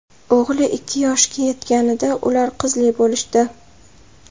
O‘g‘li ikki yoshga yetganida ular qizli bo‘lishdi.